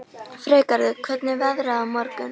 Freygarður, hvernig er veðrið á morgun?